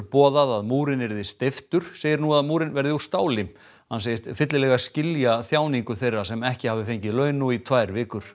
boðað að múrinn yrði steyptur segir nú að múrinn verði úr stáli hann segist fyllilega skilja þjáningu þeirra sem ekki hafi fengið laun nú í tvær vikur